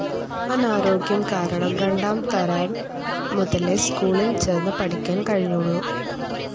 അനാരോഗ്യം കാരണം രണ്ടാം തരം മുതലെ സ്കൂളിൽ ചേർന്ന് പഠിക്കാൻ കഴിഞ്ഞുള്ളൂ.